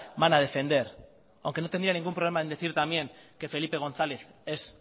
van a defender aunque no tendría ningún problema en decir también que felipe gonzález es